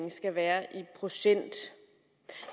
skal være i procent